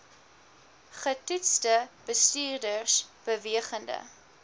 getoetste bestuurders bewegende